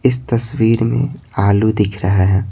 इस तस्वीर में आलू दिख रहा है।